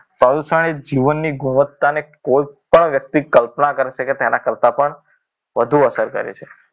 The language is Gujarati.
પ્રદૂષણ એ જીવનની ગુણવત્તાને કોઈપણ વ્યક્તિ કલ્પના કરશે કે તેના કરતાં પણ વધુ અસર કરે છે